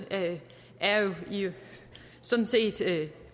er sådan set